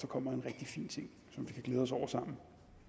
kommer en rigtig fin ting som vi kan glæde os over sammen